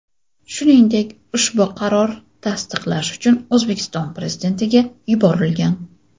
Shuningdek, ushbu qaror tasdiqlash uchun O‘zbekiston Prezidentiga yuborilgan.